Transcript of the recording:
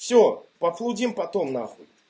все пофлудим потом нахуй